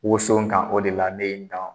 Woso kan o de la ne ye n dan